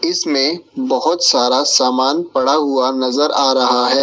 इसमें बहोत सारा सामान पड़ा हुआ नजर आ रहा है।